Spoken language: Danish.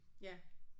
Ja